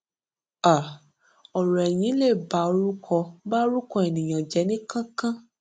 um ọrọ ẹyìn lè ba orúkọ ba orúkọ ènìyàn jẹ ní kánkán